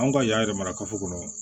An ka yan yɛrɛ mara kafo kɔnɔ